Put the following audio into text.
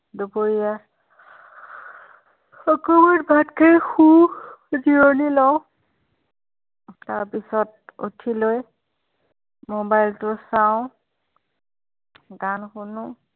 আৰু দুপৰীয়া অকণমান ভাত খাই শু জিৰণি লওঁ তাৰ পিছত উঠি লৈ mobile চাওঁ গান শুনো